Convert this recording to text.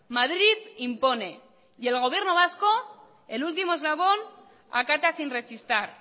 madrid impone y el gobierno vasco el último eslabón acata sin rechistar